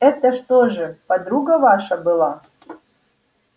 это что же подруга ваша была